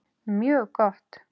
Mjög gott!